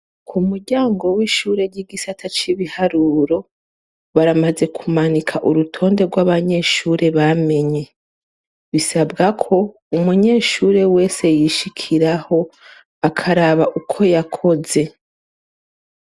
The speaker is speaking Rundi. Ku muryango w'ishure ry'igisata c'ibiharuro, baramaze kumanika urutonde rw'abanyeshure bamenye. Bisabwako umunyeshure wese yishikiraho akaraba uko yakoze.